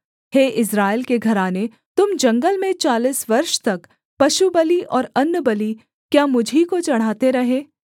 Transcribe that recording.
हे Israel के घराने तुम जंगल में चालीस वर्ष तक पशुबलि और अन्नबलि क्या मुझी को चढ़ाते रहे